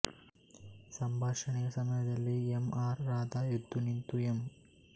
ಸಂಭಾಷಣೆಯ ಸಮಯದಲ್ಲಿ M R Radha ಎದ್ದು ನಿಂತು ಎಂ